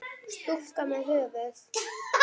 Stúlka með höfuð.